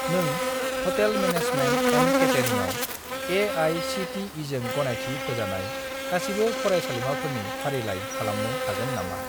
नों hotel management and केटारिंआव ए.आइ.सि.टि.इ.जों गनायथि होजानाय गासिबो फरायसालिमाफोरनि फारिलाइ खालामनो हागोन नामा?